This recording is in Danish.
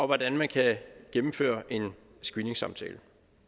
hvordan man kan gennemføre en screeningssamtale